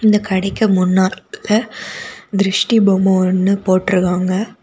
இந்த கடைக்கு முன்நாட்டுல திருஷ்டி பொம்மை ஒன்னு போட்ருக்காங்க.